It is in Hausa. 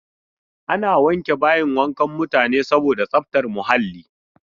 Ana wanke bayin wankan mutane saboda tsaftar muhalli.